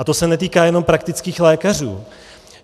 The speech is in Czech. A to se netýká jenom praktických lékařů.